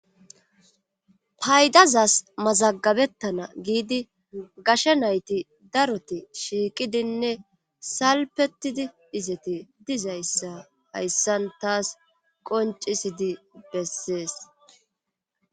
Paydazas mazagabettana giidi gasha nayti daroti shiiqidinne salpetidi izeti dizayssa hayssan taas qoncisidi bessees.